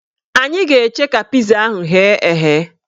Anyị ga-eche ka piza ahụ ghee eghe